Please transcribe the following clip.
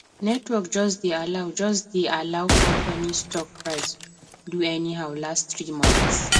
network just dey allow just dey allow company stock price do anyhow last three months